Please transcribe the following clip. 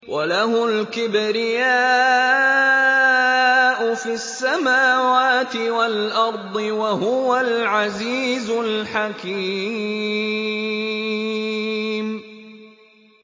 وَلَهُ الْكِبْرِيَاءُ فِي السَّمَاوَاتِ وَالْأَرْضِ ۖ وَهُوَ الْعَزِيزُ الْحَكِيمُ